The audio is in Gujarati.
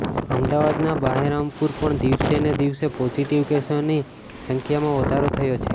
અમદાવાદના બહેરામપુરમાં પણ દિવસે ને દિવસે પોઝિટિવ કેસોની સંખ્યામાં વધારો થયો છે